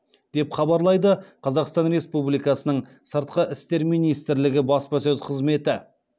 деп хабарлайды қазақстан республикасының сыртқы істер министрлігі баспасөз қызметі